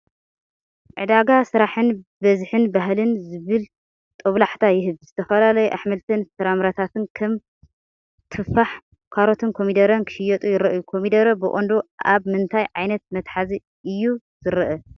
ዕዳጋ ስራሕን ብዝሕን ባህልን ዝብል ጦብላሕታ ይህብ። ዝተፈላለዩ ኣሕምልትን ፍረታትን (ከም ቱፋሕ፡ ካሮትን ኮሚደረን) ክሽየጡ ይረኣዩ። ኮሚደረ ብቐንዱ ኣብ ምንታይ ዓይነት መትሓዚ እዩ ዝርአ?